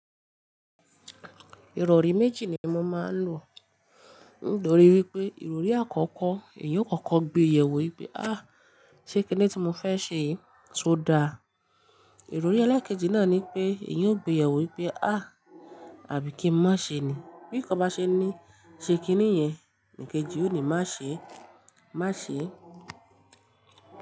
Ìrọ̀rí méjì ni mo máa ń lò. Nítorí wípé ìrọ̀rí àkọ́kọ́, èyí ó kókó gbé yẹ̀ wò wípé "áà, ṣé kíni tí mo fẹ́ ṣe yìí ṣe ó da?" Ìrọ̀rí ẹlẹ́ẹ̀kejì náà ni pé èyí ó gbé yẹ̀ wò wípé "áà, àbí kí n má ṣe ni?" Bí kan bá ṣe ní, ṣe kíni yẹn, ní kejì ó ní má ṣe, má ṣe.